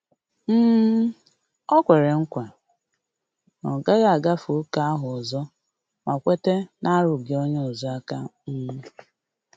um Ọ kwere nkwa na ọ gaghị agafe ókè ahụ ọzo ma kweta narugi onye ozo aka um